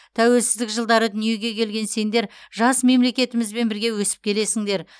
тәуелсіздік жылдары дүниеге келген сендер жас мемлекетімізбен бірге өсіп келесіңдер